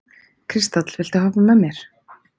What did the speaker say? Kristall, viltu hoppa með mér?